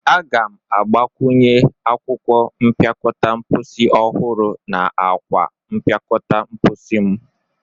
Aga m a ga-agbakwunye akwụkwọ mpịakọta mposi ọhụrụ na akwa mpịakọta mposi mu.